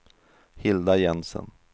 Hilda Jensen